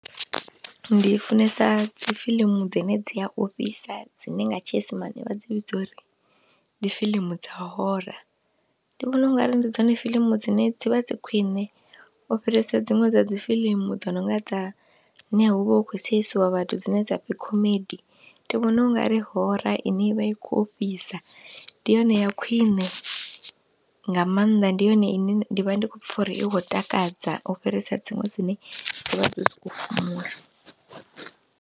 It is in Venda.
Ndi funesa dzi fiḽimu dzine dzi a ofhisa, dzine nga tshiisimane vha dzi vhidza uri ndi fiḽimu dza horror, ndi vhona ungari ndi dzone fiḽimu dzine dzi vha dzi khwiṋe u fhirisa dziṅwe dza dzi fiḽimu dzo nonga dza ne hu vha hu khou seisiwa vhathu dzine dza pfhi comedy, ndi vhona ungari horror ine i vha i khou ofhisa ndi yone ya khwine nga maanḓa, ndi yone ine ndi vha ndi khou pfha uri i khou takadza u fhirisa dziṅwe dzine dzi vha dzo sokou fhumula.